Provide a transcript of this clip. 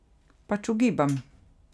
Pač ugibam.